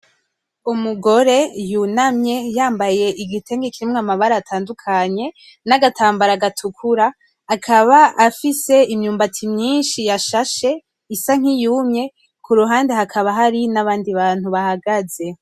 Umugore y'unamye yambaye igitenge kirimwo amabara atandukanye n'agatambara gatukura. Akaba afise imyumbati myinshi yashashe isa nk'iyumye kuruhande hakaba hari nabandi bantu bahagaze.